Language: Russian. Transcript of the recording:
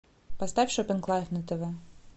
поставь шопинг лайф на тв